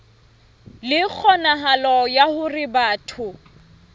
le kgonahalo ya hore batho